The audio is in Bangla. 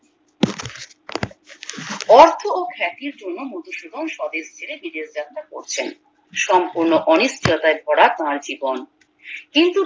অর্থ ও খাতির জন্য মধুসুধন বিদেশ যাত্রা করছেন সম্পূর্ণ অনিশ্চয়তায় ভরা তার জীবন কিন্তু